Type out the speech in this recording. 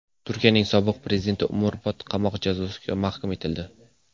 Turkiyaning sobiq prezidenti umrbod qamoq jazosiga mahkum etildi.